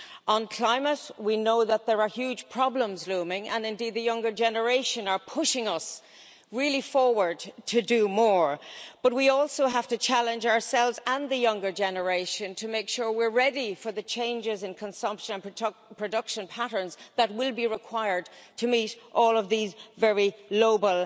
On climate, we know that there are huge problems looming, and the younger generation are pushing us really forward to do more, but we also have to challenge ourselves and the younger generation to make sure we are ready for the changes in consumption and production patterns that will be required to meet all of these very noble